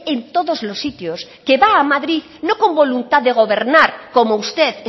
en todos los sitios que va a madrid no con voluntad de gobernar como usted